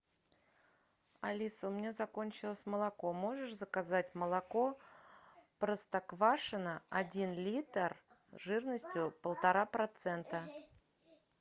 алиса у меня закончилось молоко можешь заказать молоко простоквашино один литр жирностью полтора процента